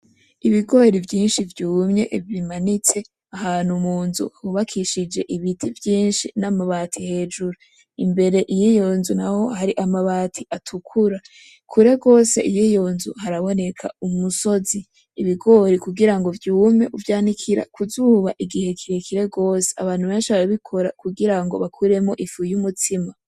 ibigori vyinshi vyumye bimanitse ahantu mu nzu hubakishije ibiti vyinshi n'amabati hejuru, imbere yiyo nzu naho hari amabati atukura, kure gose yiyo nzu haraboneka umusozi ibigori kugira vyume uvyanikira kuzuba igihe kirekire gose abantu benshi barabikora kugirango ukuremwo ifu y'umutsima